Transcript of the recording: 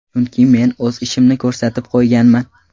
Chunki men o‘z ishimni ko‘rsatib qo‘yganman.